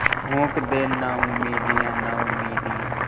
फूँक दे नाउमीदियाँ नाउमीदियाँ